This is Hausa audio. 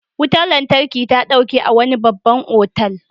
Wutar lantarki ta ɗauke a wani babban otal.